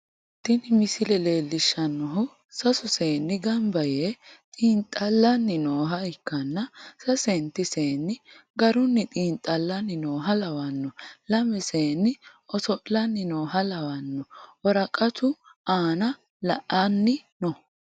tini misile leellishshannohu, sasu seenni gamba yee xinxallanni nooha ikkanna, sasenti seenni garunni xinxallanni nooha lawanno, lame seenni oso'lanni nooha lawanno, woraqatu aana la'anni no.